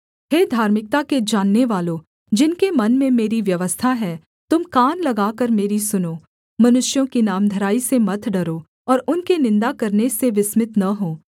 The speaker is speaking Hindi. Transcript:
हे धार्मिकता के जाननेवालों जिनके मन में मेरी व्यवस्था है तुम कान लगाकर मेरी सुनो मनुष्यों की नामधराई से मत डरो और उनके निन्दा करने से विस्मित न हो